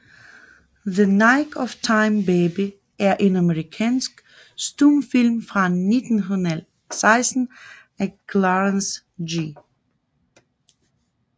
The Nick of Time Baby er en amerikansk stumfilm fra 1916 af Clarence G